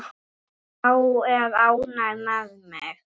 Sá er ánægður með þig!